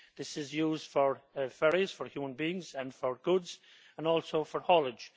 This is used for ferries for human beings and for goods and also for haulage.